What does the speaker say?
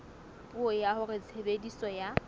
puo ya hore tshebediso ya